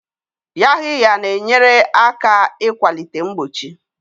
Yaxiya na-enyere aka ịkwalite mgbochi.